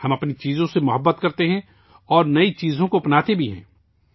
ہم اپنی چیزوں سے پیار کرتے ہیں اور نئی چیزوں کو اپناتے بھی ہیں